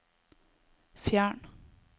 fjern